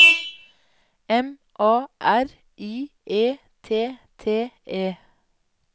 M A R I E T T E